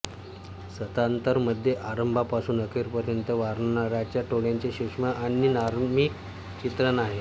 सत्तांतर मध्ये आरंभापासून अखेरपर्यंत वानरांच्या टोळयांचे सूक्ष्म आणि मार्मिक चित्रण आहे